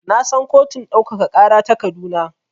Na san kotun ɗaukaka ƙara ta Kaduna.